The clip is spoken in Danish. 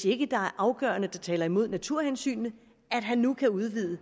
ikke er afgørende ting der taler imod naturhensynene at han nu kan udvide